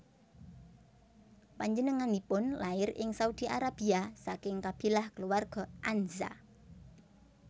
Panjenenganipun lair ing Saudi Arabia saking kabilah kulawarga Anza